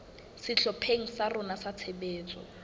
sehlopheng sa rona sa tshebetso